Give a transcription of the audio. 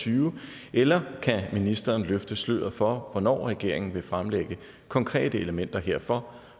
tyve eller kan ministeren løfte sløret for hvornår regeringen vil fremlægge konkrete elementer herfor